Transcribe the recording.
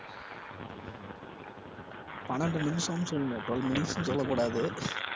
பன்னெண்டு நிமிசம்னு சொல்லுங்க twelve minutes ன்னு சொல்லக் கூடாது